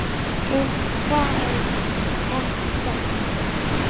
En þeir þekkja margt.